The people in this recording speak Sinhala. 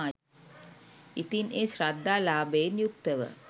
ඉතින් ඒ ශ්‍රද්ධා ලාභයෙන් යුක්තව